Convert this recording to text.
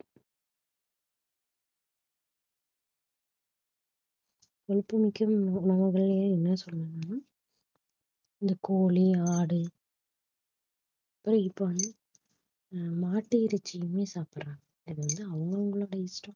கொழுப்பு மிக்க உண~ உணவுகளயே என்ன சொல்லனும்னா இந்த கோழி ஆடு ஆஹ் இப்ப வந்து அஹ் மாட்டு இறைச்சியுமே சாப்பிடறாங்க இது வந்து அவங்க அவங்களோட இஷ்டம்